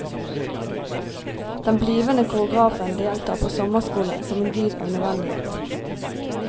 Den blivende koreografen deltar på sommerskole som en dyd av nødvendighet.